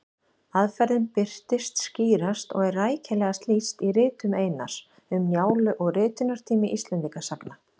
Aðferðin birtist skýrast og er rækilegast lýst í ritum Einars, Um Njálu og Ritunartími Íslendingasagna.